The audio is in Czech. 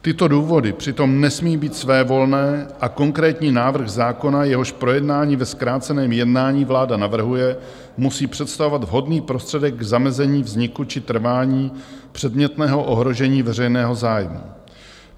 Tyto důvody přitom nesmí být svévolné a konkrétní návrh zákona, jehož projednání ve zkráceném jednání vláda navrhuje, musí představovat vhodný prostředek k zamezení vzniku či trvání předmětného ohrožení veřejného zájmu.